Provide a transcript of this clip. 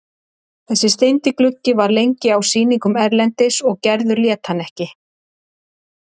Þessi steindi gluggi var lengi á sýningum erlendis og Gerður lét hann ekki.